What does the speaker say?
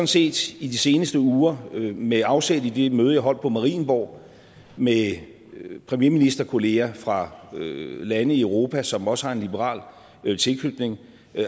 set i de seneste uger med afsæt i det møde jeg holdt på marienborg med med premierministerkolleger fra lande i europa som også har en liberal tilknytning